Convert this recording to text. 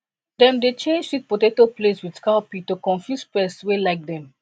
dem dey change sweet potato place with cowpea to confuse pest wey like dem